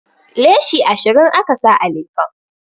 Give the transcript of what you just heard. Leshi ashirin aka sa a lefen